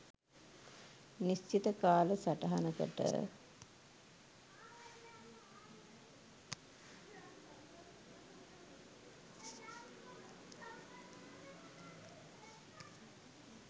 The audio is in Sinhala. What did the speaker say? නිශ්චිත කාල සටහනකට.